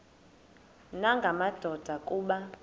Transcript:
nanga madoda kuba